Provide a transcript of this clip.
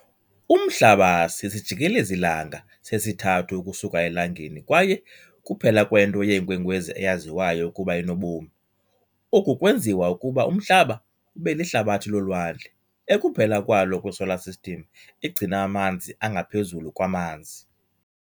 Umhlaba sisijikelezi-langa sesithathu ukusuka eLangeni kwaye kuphela kwento yeenkwenkwezi eyaziwayo ukuba inobomi. Oku kwenziwa ukuba uMhlaba ube lihlabathi lolwandle, ekuphela kwalo kwiSolar System egcina amanzi angaphezulu kwamanzi.